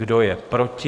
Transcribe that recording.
Kdo je proti?